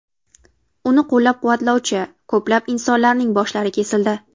Uni qo‘llab-quvvatlovchi ko‘plab insonlarning boshlari kesildi.